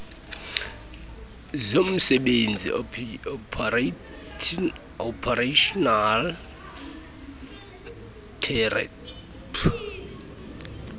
zomsebenzi occupational therapy